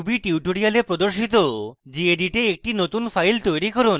basic level ruby tutorials প্রদর্শিত gedit a একটি নতুন file তৈরী করুন